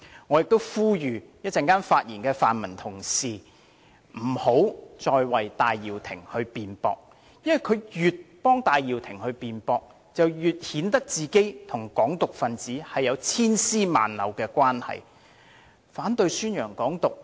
我亦呼籲稍後發言的泛民同事不要再為戴耀廷辯駁，因為越是這樣做，便越顯得自己與"港獨"分子有千絲萬縷的關係。